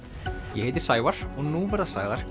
ég heiti Sævar og nú verða sagðar